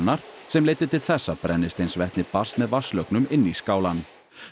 sem leiddi til þess að brennisteinsvetni barst með vatnslögnum inn í skálann